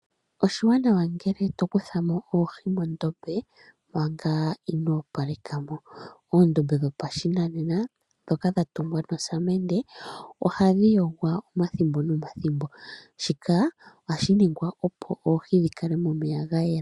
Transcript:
Oshiwanawa ngele tokuthamo oohi mondombe manga ino opalekamo. Oondombe dhopashinanena dhoka dhatungwa nosamende ohadhi yogwa omathimbo nomathimbo, shika ohashi ningwa opo oohi dhikale momeya gayela.